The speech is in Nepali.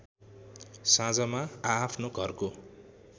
साँझमा आआफ्नो घरको